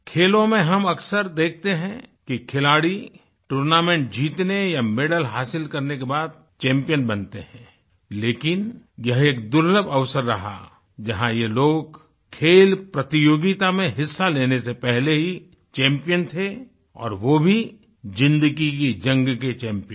खेलों में हम अक्सर देखते हैं कि खिलाड़ी टूर्नामेंट जीतने या मैडल हांसिल करने के बाद चैम्पियन बनते हैं लेकिन यह एक दुर्लभ अवसर रहा जहाँ ये लोग खेल प्रतियोगिता में हिस्सा लेने से पहले ही चैम्पियन थे और वो भी ज़िंदगी की जंग के चैम्पियन